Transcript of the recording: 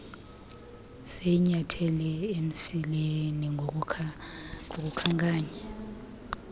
siyinyathele emsileni ngokukhankanya